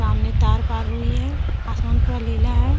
उनमें तार पार हुई है आसमान पूरा लीला है।